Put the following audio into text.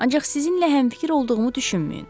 ancaq sizinlə həmfikir olduğumu düşünməyin.